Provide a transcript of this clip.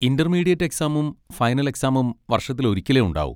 Intermediate എക്സാമും final എക്സാമും വർഷത്തിൽ ഒരിക്കലേ ഉണ്ടാവൂ.